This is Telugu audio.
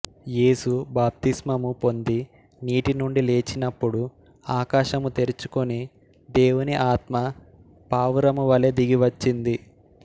యేసు బాప్తీస్మము పొంది నీటి నుండి లేచినప్పుడు ఆకాశము తెరుచుకొనిదేవుని ఆత్మ పావురము వలే దిగివచ్చింది